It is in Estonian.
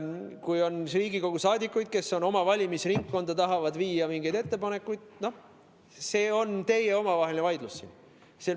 Kui on Riigikogu liikmeid, kes oma valimisringkonnas tahavad teha mingeid ettepanekuid, siis see on teie omavaheline vaidlus.